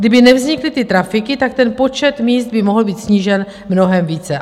Kdyby nevznikly ty trafiky, tak ten počet míst by mohl být snížen mnohem více.